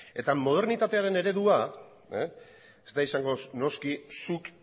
eta modernitatearen eredua ez da izango noski zuk